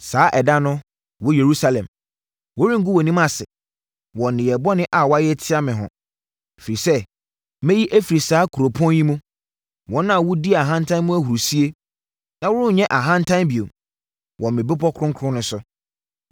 Saa ɛda no, wo Yerusalem, wɔrengu wʼanim ase wɔ nneyɛeɛ bɔne a woayɛ atia me ho, ɛfiri sɛ mɛyi afiri saa kuropɔn yi mu, wɔn a wodi ahantan mu ahurisie na worenyɛ ahantan bio wɔ me bepɔ kronkron no so.